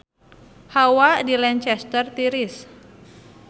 Hawa di Lancaster tiris